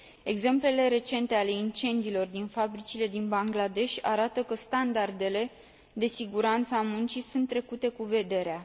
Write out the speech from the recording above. Exemplele recente ale incendiilor din fabricile din Bangladesh arată că standardele de siguranță a muncii sunt trecute cu vederea.